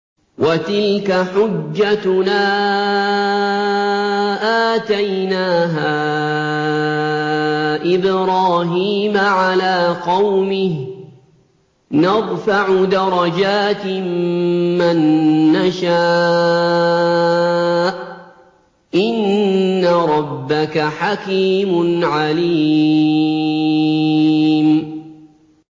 وَتِلْكَ حُجَّتُنَا آتَيْنَاهَا إِبْرَاهِيمَ عَلَىٰ قَوْمِهِ ۚ نَرْفَعُ دَرَجَاتٍ مَّن نَّشَاءُ ۗ إِنَّ رَبَّكَ حَكِيمٌ عَلِيمٌ